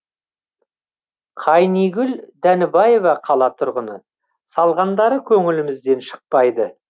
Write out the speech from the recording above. қайнигүл дәнібаева қала тұрғыны салғандары көңілімізден шықпайды